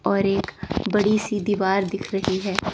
और एक बड़ी सी दीवार दिख रही है।